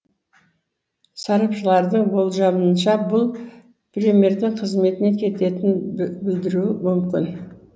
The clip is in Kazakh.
сарапшылардың болжамынша бұл премьердің қызметіне кететінін білдіруі мүмкін